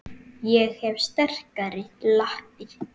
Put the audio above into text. Ég hef sterkar lappir.